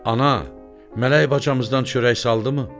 Ana, mələk bacamızdan çörək saldımı?